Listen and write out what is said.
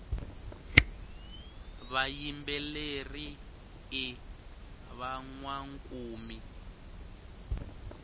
vayimbeleri i vanwankumi